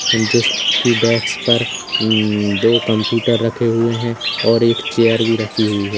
Desk पर दो computer रखे हुए है और एक चेयर भी रखी हुई है।